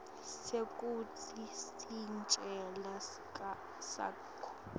sekutsi sicelo sakho